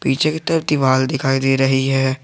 पीछे की तरफ दीवार दिखाई दे रही है।